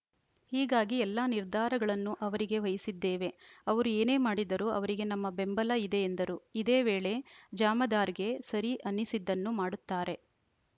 ಹೀಗಾಗಿ ಎಲ್ಲಾ ನಿರ್ಧಾರಗಳನ್ನು ಅವರಿಗೆ ವಹಿಸಿದ್ದೇವೆ ಅವರು ಏನೇ ಮಾಡಿದರೂ ಅವರಿಗೆ ನಮ್ಮ ಬೆಂಬಲ ಇದೆ ಎಂದರು ಇದೇ ವೇಳೆ ಜಾಮದಾರ್‌ಗೆ ಸರಿ ಅನಿಸಿದ್ದನ್ನು ಮಾಡುತ್ತಾರೆ